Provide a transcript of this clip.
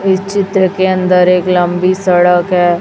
इस चित्र के अंदर एक लंबी सड़क है।